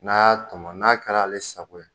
N'a y'a tɔmɔ n'a kɛra ale sago ye